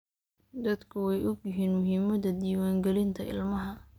Dadku way ogyihiin muhiimada diwaan galinta ilmaha.